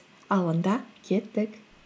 ал онда кеттік